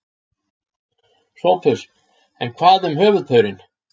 SOPHUS: En hvað um höfuðpaurinn?